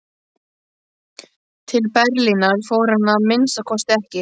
Til Berlínar fór hann að minnsta kosti ekki.